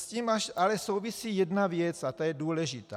S tím ale souvisí jedna věc a ta je důležitá.